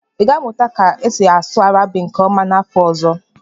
ị ga-amụta ka esi asụ Arabiki nke ọma n'afọ ọzọ?